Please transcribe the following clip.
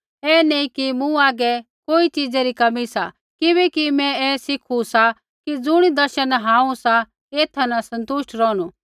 ऐ नैंई कि मूँ हागै कोई च़ीज़ा री कमी सा किबैकि मैं ऐ सिखु सा कि ज़ुणी दशा न हांऊँ सा एथा न सन्तुष्ट रौहणु